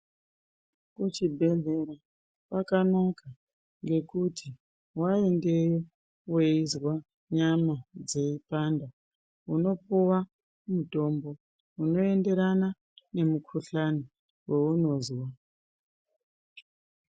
Muchibhedlera kwakanaka ngekuti waende weyizwa nyama dzeyipanda unopuwa mitombo unoenderana ngemikuhlane wounozwa.